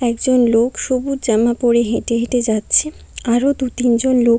একজন লোক সবুজ জামা পড়ে হেঁটে হেঁটে যাচ্ছে আরও দু তিনজন লোক--